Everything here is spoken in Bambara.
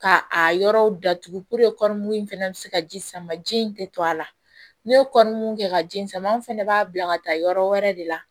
Ka a yɔrɔw datugu puruke kɔrɔ k'u fana bɛ se ka ji sama ji in tɛ to a la ne ye kɔrɔ mun kɛ ka ji sama anw fana b'a bila ka taa yɔrɔ wɛrɛ de la